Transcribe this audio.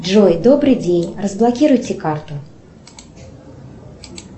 джой добрый день разблокируйте карту